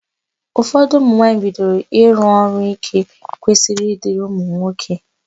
Ụfọdụ ụmụnwaanyị bidoro ịrụ ọrụ íké kwesịrị ịdịrị ụmụnwoke.